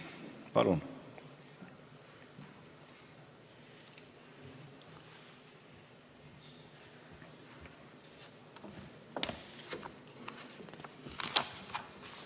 Palun!